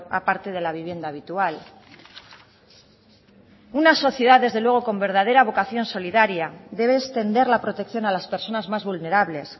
aparte de la vivienda habitual una sociedad desde luego con verdadera vocación solidaria debe extender la protección a las personas más vulnerables